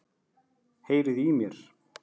Heyriði í mér?